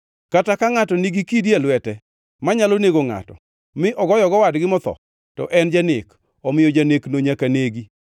Kata ka ngʼato nigi kidi e lwete manyalo nego ngʼato, mi ogoyogo wadgi motho, to en janek; omiyo janekno nyaka negi.